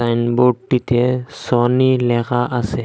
সাইনবোর্ডটিতে Sony লেখা আসে ।